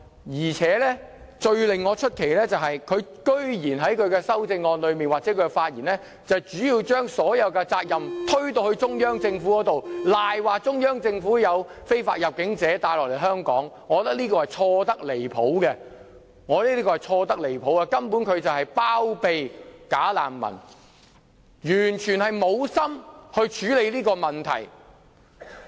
至於最令我感到奇怪的是，她居然在她的修正案或發言裏面，將所有責任推給中央政府，誣蔑中央政府把非法入境者推入香港，我覺得這是錯得離譜，她根本是包庇"假難民"，完全沒有意思處理這個問題。